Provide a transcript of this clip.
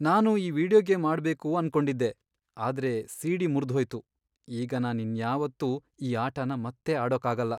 ನಾನು ಈ video game ಆಡ್ಬೇಕು ಅನ್ಕೊಂಡಿದ್ದೆ, ಆದ್ರೆ ಸಿ.ಡಿ. ಮುರ್ದ್ಹೋಯ್ತು. ಈಗ ನಾನ್ ಇನ್ಯಾವತ್ತೂ ಈ ಆಟನ ಮತ್ತೆ ಆಡೋಕಾಗಲ್ಲ.